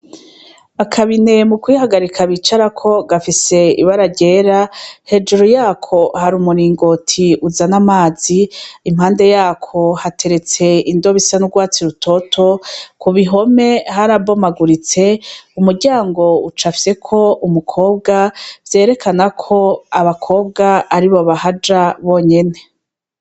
Akabine mu kwihagarika bicarako gafise ibararyera hejuru yako hari umuringoti uzan' amazi impande yako hateretse indobe isa n'urwatsi rutoto ku bihome harabomaguritse umuryango uca afyeko umukobwa vyerekanako abakobwa ari bo bahaja bonyene.